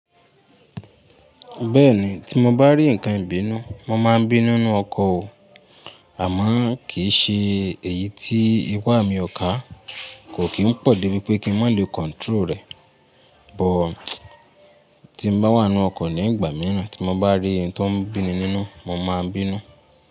Bẹ́ẹ̀ni, tí mo bá rí ǹkan ibínú, mo máa ń bínú nínú ọkọ̀ o. Àmọ́ kì í ṣe èyí tí ìpà mi ọkà kò kí ń pọ̀ débi pé kí n má lè control rẹ̀. But tí mo bá wà nínú ọkọ̀ ní ìgbà mìíràn tí mo bá rí ohun tó ń bí mi nínú, mo máa ń bínú.